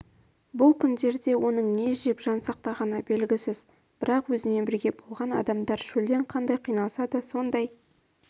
бұл күндерде оның не жеп жан сақтағаны белгісіз бірақ өзімен бірге болған адамдар шөлден қандай қиналса да сондай